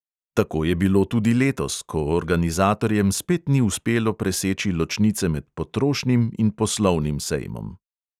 Tako je bilo tudi letos, ko organizatorjem spet ni uspelo preseči ločnice med potrošnim in poslovnim sejmom.